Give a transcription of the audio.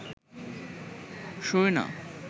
শোয় না